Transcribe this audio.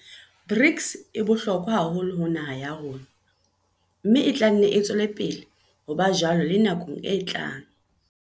BRICS e bohlokwa haholo ho naha ya rona, mme e tla nne e tswele pele ho ba jwalo le nakong e tlang.